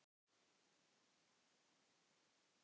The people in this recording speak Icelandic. Kveðjan vandist skjótt.